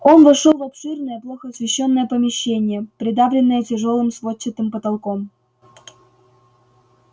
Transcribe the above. он вошёл в обширное плохо освещённое помещение придавленное тяжёлым сводчатым потолком